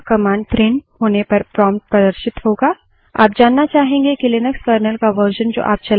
हम देखेंगे कि उसी line पर enter a command प्रिंट होने पर prompt प्रदर्शित होगा